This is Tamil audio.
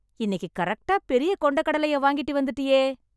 இன்னிக்கு கரெக்ட்டா பெரிய கொண்டைக் கடலைய வாங்கிட்டு வந்துட்டியே...